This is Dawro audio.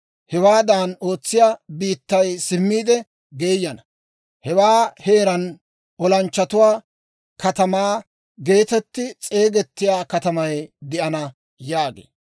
Hewaadan ootsina biittay simmiide geeyana. Hewaa heeraan, «Olanchchatuwaa Katamaa» geetetti s'eegettiyaa katamay de'ana› yaagee.